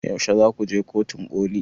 Yaushe zaku je kotun ƙoli?